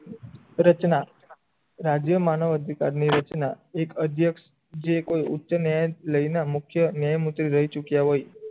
રચના રાજ્ય માનવ અધિકારની રચના એક અધ્યક્ષ જે કોઈ ઉચ્ચ નયન લઈને મુખ્ય ચુક્યા હોય